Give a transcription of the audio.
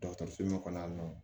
Dɔgɔtɔrɔso la kɔni